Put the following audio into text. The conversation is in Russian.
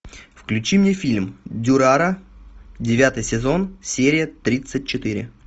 включи мне фильм дюрара девятый сезон серия тридцать четыре